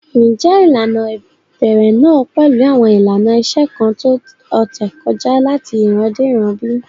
Ǹjẹ́ ilànà ibèrè náà pẹ̀lú awọn ilànà ìṣẹ̀ kan tó ọ̀tẹ̀ kọja lati ìràn dé ìràn bí?